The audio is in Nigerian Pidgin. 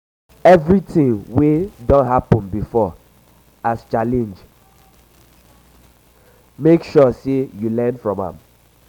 evritin wey don happen bifor as challenge mek sure sey yu learn from am